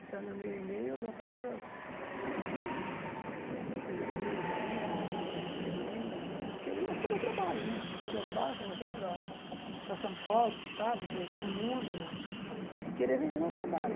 Entrando no meu e-mail, eu dou todas as os meios aí para me descobrir e querer mostrar o meu trabalho, o que eu faço, mostrar para para São Paulo, para o Estado, para o para o mundo, e querer vender o meu trabalho.